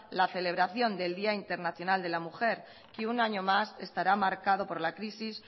la celebración del día internacional de la mujer que un año más estará marcado por la crisis